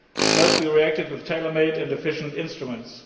thus we reacted with tailor made and efficient instruments.